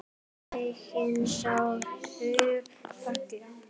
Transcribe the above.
Enginn sá Hauk falla.